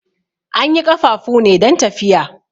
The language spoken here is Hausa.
An yi ƙafafu ne don tafiya.